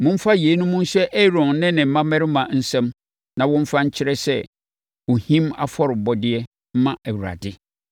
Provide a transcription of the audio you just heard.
Momfa yeinom nhyɛ Aaron ne ne mmammarima nsam na wɔmfa nkyerɛ sɛ ɔhim afɔrebɔdeɛ mma Awurade.